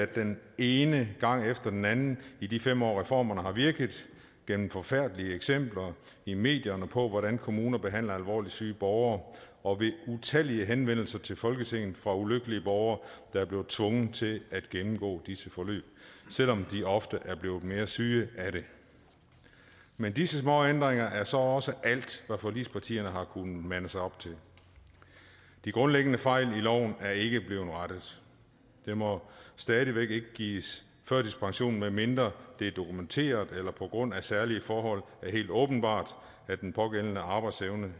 den ene gang efter den anden i de fem år reformerne har virket gennem forfærdelige eksempler i medierne på hvordan kommuner behandler alvorligt syge borgere og ved utallige henvendelser til folketinget fra ulykkelige borgere der er blevet tvunget til at gennemgå disse forløb selv om de ofte er blevet mere syge af det men disse småændringer er så også alt hvad forligspartierne har kunnet mande sig op til de grundlæggende fejl i loven er ikke blevet rettet der må stadig væk ikke gives førtidspension medmindre det er dokumenteret eller det på grund af særlige forhold er helt åbenbart at den pågældendes arbejdsevne